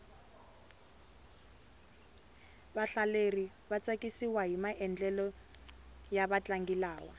vahlaleri va tsakisiwahi maendlelo ya vatlangi lava